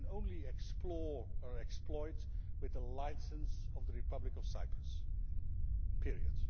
It can only explore or exploit with the licence of the Republic of Cyprus, period.